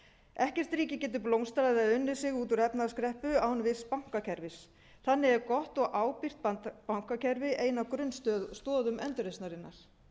ekkert ríki getur blómstrað eða unnið sig út úr efnahagskreppu án virks bankakerfis þannig er gott og ábyrgt bankakerfi ein af grunnstoðum endurreisnarinnar en það eru